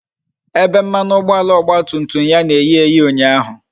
Ebe mmanụ ụgbọala ọgba tum tum ya na-eyi eyi ụnyaahụ